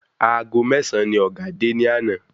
Aago mésàn ni ọ̀gá dé ni àná?